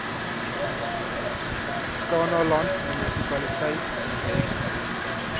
kannaland munisipaliteit onthef